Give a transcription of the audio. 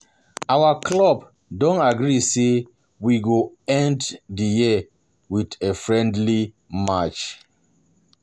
Our club don agree say we go end end the year with a friendly match